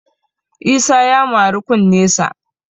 Isa ya mari kunnesa